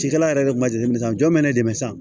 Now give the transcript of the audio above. Cikɛla yɛrɛ de kun ma deli san jɔn bɛ ne dɛmɛ sa